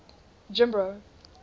jimbro